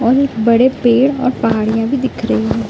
और एक बड़े पेड़ और पहाड़ियाँ भी दिख रही हैं ।